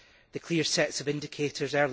the clear sets of indicators